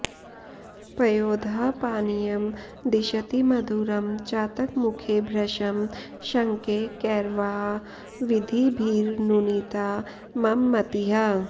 पयोदः पानीयं दिशति मधुरं चातकमुखे भृशं शङ्के कैर्वा विधिभिरनुनीता मम मतिः